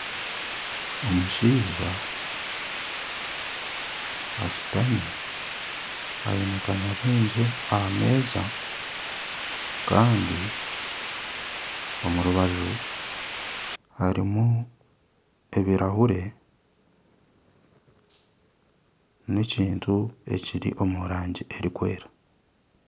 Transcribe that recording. Omushaija ashutami aine kanyabwengye aha meeza kandi omu rubaju harimu ebirahure n'ekintu ekiri omu rangi erikwera